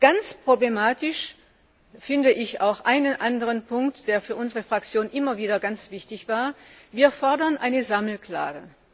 Ganz problematisch finde ich auch einen anderen Punkt, der für unsere Fraktion immer wieder ganz wichtig war Wir fordern eine Sammelklage.